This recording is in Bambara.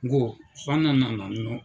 N ko f'an kana na nɔ.